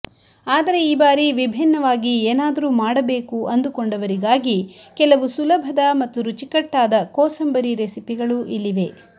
ಆದರೆ ಈ ಬಾರಿ ವಿಭಿನ್ನವಾಗಿ ಏನಾದರೂ ಮಾಡಬೇಕು ಅಂದುಕೊಂಡವರಿಗಾಗಿ ಕೆಲವು ಸುಲಭದ ಮತ್ತು ರುಚಿಕಟ್ಟಾದ ಕೋಸಂಬರಿ ರೆಸಿಪಿಗಳು ಇಲ್ಲಿವೆ